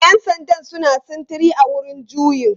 Yan sandan suna sintiri a wurin juyin.